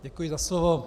Děkuji za slovo.